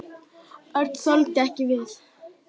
Örn þoldi ekki við.